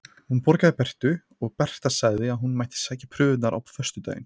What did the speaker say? Hún borgaði Bertu og Berta sagði að hún mætti sækja prufurnar á föstudaginn.